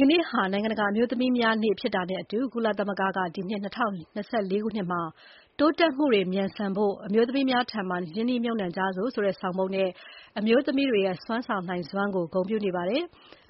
က်နေ့ဟာ နိုင်ငံတကာအမျိုးသမီးများနေ့ ဖြစ်တာနဲ့အတူ ကုလသမဂ္ဂက ဒီနှစ် ၂၀၂၄ ခုနှစ်မှာ “တိုးတက်မှုတွေ မြန်ဆန်ဖို့ အမျိုးသမီးများထံ ရင်းနှီးမြှပ်နှံကြစို့” ဆိုတဲ့ဆောင်ပုဒ်နဲ့ အမျိုးသမီးတွေရဲ့ ဆောင်ရွက်နိုင်စွမ်းကို ဂုဏ်ပြုထားပါတယ်။